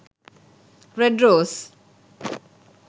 red rose